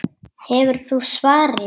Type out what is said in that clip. Hefur þú svarið?